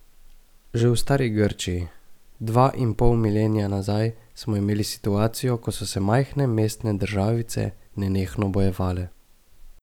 Že v stari Grčiji, dva in pol milenija nazaj, smo imeli situacijo, ko se se majhne mestne državice nenehno bojevale.